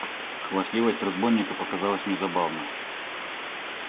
хвастливость разбойника показалась мне забавна